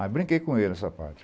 Aí brinquei com ele nessa parte.